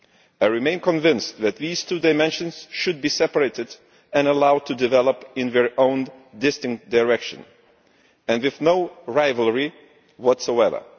I remain convinced that these two dimensions should be separated and allowed to develop in their own distinct direction and with no rivalry whatsoever.